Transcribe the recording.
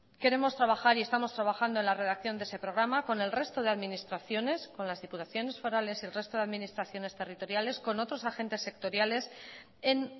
queremos trabajar y estamos trabajando en la redacción de ese programa con el resto de administraciones con las diputaciones forales y el resto de administraciones territoriales con otros agentes sectoriales en